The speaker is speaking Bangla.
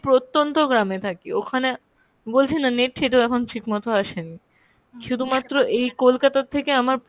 প্রত্যন্ত গ্রামে থাকি, ওখানে বলছি না net ঠেট ও এখন ঠিক মতো আসেনি, শুধুমাত্র এই কোলকাতা থেকে আমার